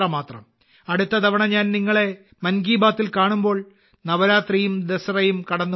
അടുത്ത തവണ ഞാൻ നിങ്ങളെ മൻ കി ബാത്തിൽ കാണുമ്പോൾ നവരാത്രിയും ദസറയും കടന്നുപോകും